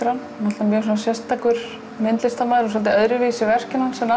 hann hann er sérstakur listamaður og öðruvísi verkin hans en